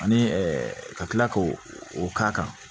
Ani ka tila k'o o k'a kan